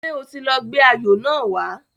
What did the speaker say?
Ṣé o ti lọ gbé ayò náà wá